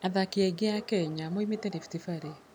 Athaki aingĩ a Kenya moimĩte Rift Valley.